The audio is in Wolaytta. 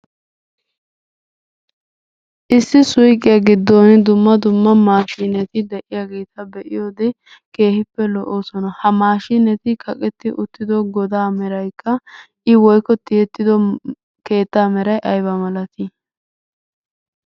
Issi suyqqiya giddon dumma dumma maashineri de'iyaageta be'iyoode keehippe lo"oosona. Ha maashineti kaqetti uttido goda meraykka I woykko tiyyeti uttido keettaa meray aybba malaati?